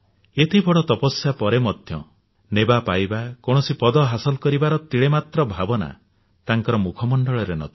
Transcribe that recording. ଏତେ ବଡ ତପସ୍ୟା ପରେ ମଧ୍ୟ ନେବାପାଇବା କୌଣସି ପଦ ହାସଲ କରିବାର ତିଳେମାତ୍ର ଭାବନା ତାଙ୍କର ମୁଖ ମଣ୍ଡଳରେ ନଥିଲା